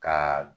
Ka